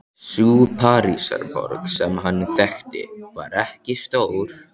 Sú Parísarborg sem hann þekkti var ekki stór.